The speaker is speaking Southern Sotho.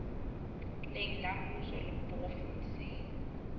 leng la mmuso le provenseng